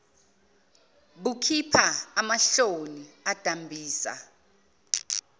bukhipha amahomoni adambisa